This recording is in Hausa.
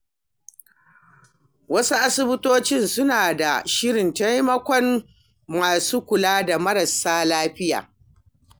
Wasu asibitoci suna da shirin taimakon masu kula da marasa lafiya.